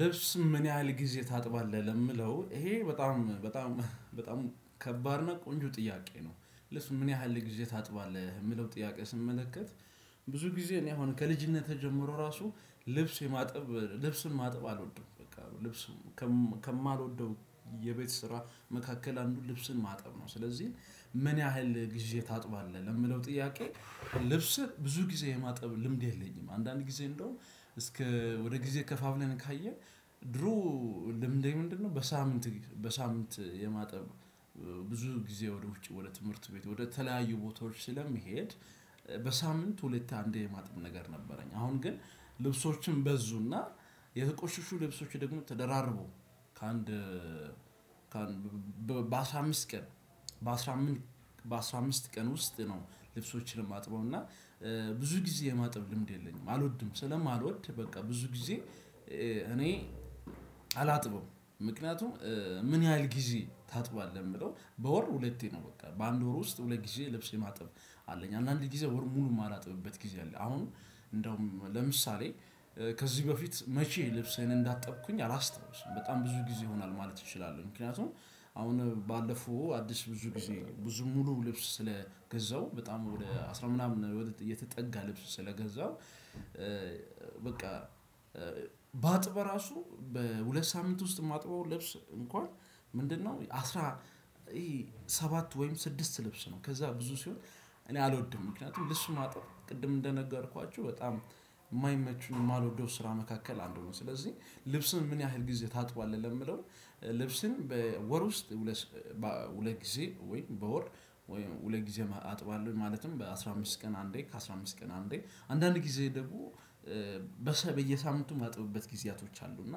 ልብስ ምን ያህል ጊዜ ታጥባለህ? የምለው ይሄ በጣም በጣም በጣም ከባድ ነው ቆንጆ ጥያቄ ነው። ለልብስ ምን ያህል ጊዜ ታጥባለህ የምለው ጥያቄ ስመለከት። ብዙ ጊዜ እኔ አሁን ከልጅነትህ ጀምሮ ራሱ ልብስ የማጥብ ልብስን ማጥብ አልወድም በቃ ልብስ ከማልወደው የቤት ስራ መካከል አንዱን ልብስን ማጠብ ነው። ስለዚህ ምን ያህል ጊዜ ታጥባለህ ለሚለው ጥያቄ ልብስህ ብዙ ጊዜ የማጠብ ልምድ የለኝም። አንዳንድ ጊዜ እንደውም እስከ ወደ ጊዜ ከፋፍለን ካየን። ድሮ ልምዴ ምንድነው? በሳምንት በሳምንት የማጠብ ብዙ ጊዜ ወደ ውጪ ወደ ትምህርት ቤት ወደ ተለያዩ ቦታዎች ስለሚሄድ በሳምንት ሁለት አንድ የማጥም ነገር ነበረኝ። አሁን ግን ልብሶችን በዙና የተቆሽሹ ልብሶች ደግሞ ተደራርቡ ከአንድ በአስራ አምስት ቀን በአስራ አምስት በአስራ አምስት ቀን ውስጥ ነው። ልብሶችንም እና ማጥበውና ብዙ ጊዜ የማጥብ ልምድ የለኝም። አልወድም ስለማልወድ በቃ ብዙ ጊዜ እኔ አላጥበውም። ምክንያቱም ምን ያህል ጊዜ ታጥባለህ ሚለውን በወር ሁለቴ ነው። በቃ በአንድ ወር ውስጥ ሁለት ጊዜ ልብስ ማጥብ አለኝ። አንዳንድ ጊዜ ወር ሙሉ የማላጥብበት ጊዜ አለ። አሁን እንደውም ለምሳሌ ከዚህ በፊት መቼ ልብስ አይነት እንዳጠብኩኝ አላስተዋውስም። በጣም ብዙ ጊዜ ይሆናል ማለት እችላለሁ። ምክንያቱም አሁን ባለፉ አዲስ ብዙ ጊዜ ብዙ ሙሉ ልብስ ስለገዛው በጣም ወደ አስራ ምናምን የተጠጋ ልብስ ስለገዛሁ። በቃ ባጥብ ራሱ በሁለት ሳምንት ውስጥ ማጥበው ለብስ እንኳን ምንድነው? አስራ ሰባት ወይም ስድስት ልብስ ነው። ከዛ ብዙ ሲሆን እኔ አልወድም ምክንያቱም ልብስ ማጥብ ቅድም እንደነገርኳችሁ በጣም የማይመቹ የማልወደው ስራ መካከል አንዱ ነው። ስለዚህ ልብስን ምን ያህል ጊዜ ታጥባለህ? ለሚለው ልብስን በወር ውስጥ ሁለት ጊዜ ወይ በወር ሁለት ጊዜ አጥባለሁ። ማለትም በአስራ አምስት ቀን አንዴ ከአስራ አምስት ቀን አንዴ አንዳንድ ጊዜ ደግሞ በየሳምንቱ ማጥብበት ጊዜያቶች አሉ። እና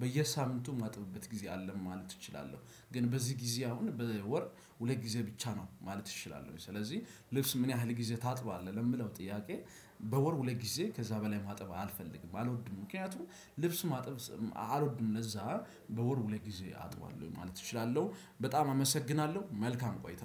በየሳምንቱ ማጥብበት ጊዜ አለ ማለት እችላለሁ። ግን በዚህ ጊዜ አሁን በወር ሁለት ጊዜ ብቻ ነው ማለት እችላለሁ። ስለዚህ ልብስ ምን ያህል ጊዜ ታጥባለህ? ለሚለው ጥያቄ በወር ሁለት ጊዜ ከዛ በላይ ማጥባት አልፈልግም አልወድም ምክንያቱም ልብስ ማጥበብ አልወድም ለዛ በወር ሁለት ጊዜ አጥባለሁ ማለት እችላለሁ። በጣም አመሰግናለሁ መልካም ቆይታ።